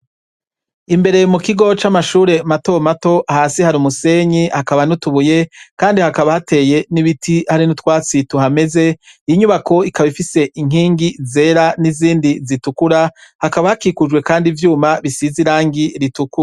Imbere mukigo c'amashure mato mato, hasi hari umusenyi hakaba n'utubuye ,kandi hakaba hateye n'ibiti hari n'utwatsi tuhameze, inyubako ikab'ifise inkingi zera n'izindi zitukura, hakaba hakikujwe kandi ivyuma bisize irangi ritukura.